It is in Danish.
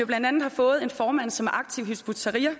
blandt andet har fået en formand som er aktiv i hizb ut tahrir